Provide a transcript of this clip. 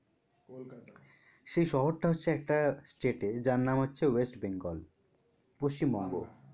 সেই শহর টা হচ্ছে একটা state এ যার নাম হচ্ছে ওয়েস্ট বেঙ্গল পশ্চিমবঙ্গ।